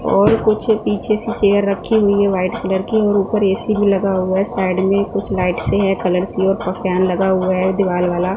और कुछ पीछे से चेयर रखीं हुई हैं व्हाइट कलर की और ऊपर ए_सी भीं लगा हुवा हैं साइड में कुछ लाइट सी हैं कलर सी और ऊपर फॅन लगा हुवा हैं दीवाल वाला।